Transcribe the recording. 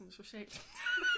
Socialt